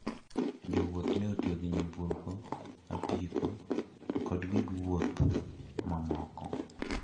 Jowuoth ne otiyo gi nyamburko, apiko to kod gik wuoth mamoko.